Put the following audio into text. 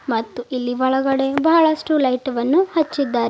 ಮತ್ತು ಇಲ್ಲಿ ಒಳಗಡೆ ಬಹಳಷ್ಟು ಲೈಟ್ ವನ್ನು ಹಚ್ಚಿದ್ದಾರೆ.